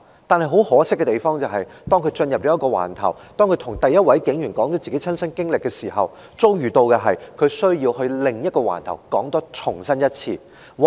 但是，很可惜的是，當他進入一個警區警署，向第一位警員說出親身經歷後，其遭遇往往是他要到另一個警區把事件再說一次。